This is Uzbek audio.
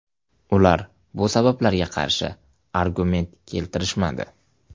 Ular bu sabablarga qarshi argument keltirishmadi.